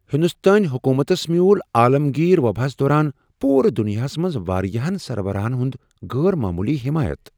ہندوستٲنۍ حکومتس میوٗل عالمگیر وباہس دوران پورٕ دنیاہس منز واریاہن سربراہن ہنٛد غٲر معمولی حمایت۔